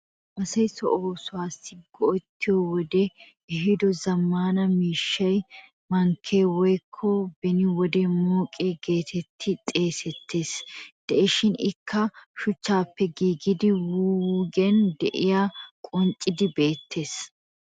Asay so oosuwaassi go'ettiyo wodee ehiido zammaana miishshay (mankkee woyikko beni wode mooqiya geetettidi xeegettees) de"ees. Ikka shuchchaappe giigida wuyigiyan de'iyagee qonccidi beettees.